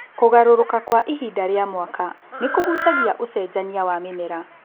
Kũgarũrũka kwa ihinda rĩa mwaka nĩ kũhutagia ũcenjania wa mĩmera